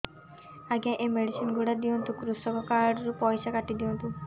ଆଜ୍ଞା ଏ ମେଡିସିନ ଗୁଡା ଦିଅନ୍ତୁ କୃଷକ କାର୍ଡ ରୁ ପଇସା କାଟିଦିଅନ୍ତୁ